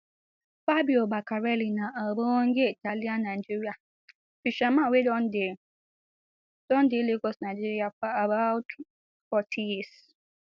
fabio beccarelli na ogbonge italiannigerian fisherman wey don dey don dey lagos nigeria for about forty years